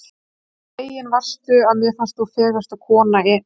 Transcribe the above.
svo fegin varstu, að mér fannst þú fegursta konan í heimi.